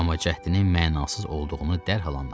Amma cəhdinin mənasız olduğunu dərhal anladı.